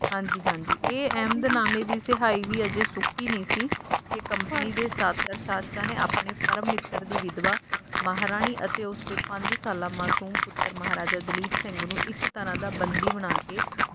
ਇਹ ਇਹਮਦਨਾਮੇ ਦੀ ਸਿਆਹੀ ਵੀ ਹਜੇ ਸੁੱਕੀ ਨਹੀਂ ਸੀ ਕੇ ਕੰਪਨੀ ਦੇ ਸ਼ਾਤਰ ਸ਼ਾਸਕਾਂ ਨੇ ਆਪਣੇ ਪਰਮ ਮਿੱਤਰ ਦੀ ਵਿਦਵਾ ਮਹਾਰਾਣੀ ਅਤੇ ਉਸਦੇ ਪੰਜ ਸਾਲਾਂ ਮਸੂਮ ਪੁੱਤਰ ਮਹਾਰਾਜਾ ਦਲੀਪ ਸਿੰਘ ਨੂੰ ਇੱਕ ਤਰਾਂ ਦਾ ਬੰਦੀ ਬਣਾ ਕੇ